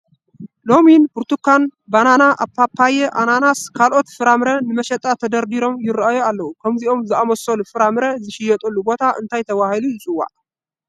ሎሚን፣ ብርቱካን፣ በነና፣ ፓፓየ፣ ኣናናንስን ካልኦት ፍራምረን ንመሸጣ ተደርዲሮም ይርኣዩ ኣለዉ፡፡ ከምዚኦም ዝኣምሰሉ ፍራ ምረ ዝሽየጡሉ ቦታ እንታይ ተባሂሉ ይፅዋዕ?